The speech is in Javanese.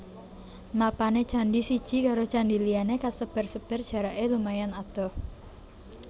Mapané candhi siji karo candhi liyané kasebar sebar jaraké lumayan adoh